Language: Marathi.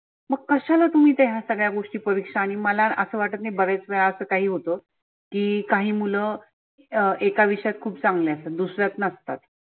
मग कशाला तुम्ही त्या ह्या सगळ्या गोष्टी परिक्षा आणि मला असं वाटत नाही बऱ्याच वेळा असं काही होतं. की काही मुलं अं एका विषयात खुप चांगले असतात दुसऱ्यात नसतात.